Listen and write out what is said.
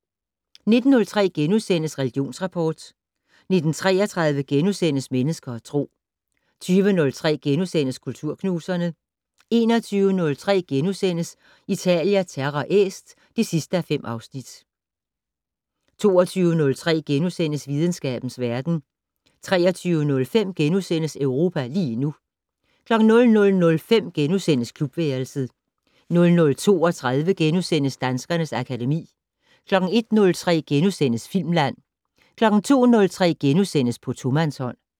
19:03: Religionsrapport * 19:33: Mennesker og Tro * 20:03: Kulturknuserne * 21:03: Italia Terra Est (5:5)* 22:03: Videnskabens verden * 23:05: Europa lige nu * 00:05: Klubværelset * 00:32: Danskernes akademi * 01:03: Filmland * 02:03: På tomandshånd *